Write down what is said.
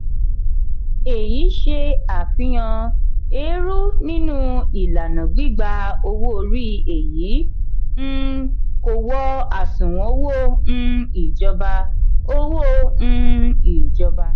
èyí ṣe àfihàn èèrú nínú ìlànà gbígbá owó-orí èyí um kò wọ àsùnwòn owó um ìjọba. owó um ìjọba.